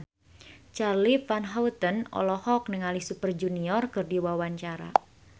Charly Van Houten olohok ningali Super Junior keur diwawancara